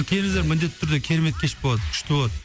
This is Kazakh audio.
келіңіздер міндетті түрде керемет кеш болады күшті болады